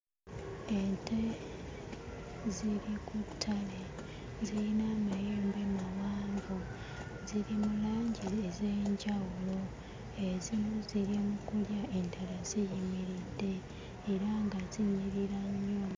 Ente ziri ku ttale. Zirina amayembe mawanvu, ziri mu langi ez'enjawulo. Ezimu ziri mu kulya, endala ziyimiridde era nga zinyirira nnyo.